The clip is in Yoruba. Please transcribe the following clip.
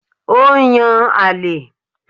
Ó n yan àlè